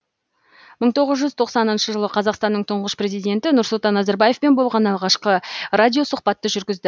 мың тоғыз жүз тоқсаныншы жылы қазақстанның тұңғыш президенті нұрсұлтан назарбаевпен болған алғашқы радиосұхбатты жүргізді